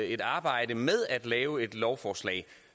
et arbejde med at lave et lovforslag